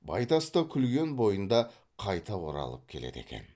байтас та күлген бойында қайта оралып келеді екен